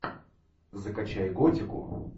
закачай готику